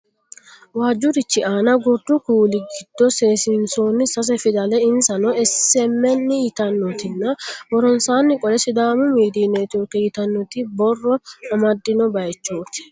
Waajjurichi aana gordu kuuli giddo seesiinsoonni sase fidale insano SMN yitannotinna woronsaanni qolle sidaama miidiyu networki yitannota borro amadino baayichooti.